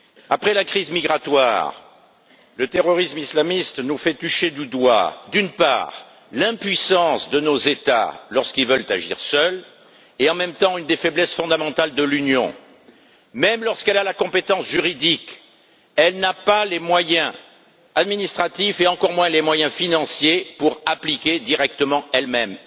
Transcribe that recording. Après la crise migratoire, le terrorisme islamiste nous fait toucher du doigt, d'une part, l'impuissance de nos États lorsqu'ils veulent agir seuls et, d'autre part, une des faiblesses fondamentales de l'Union européenne. Même lorsqu'elle a la compétence juridique, elle n'a pas les moyens administratifs et encore moins les moyens financiers d'appliquer directement elle même.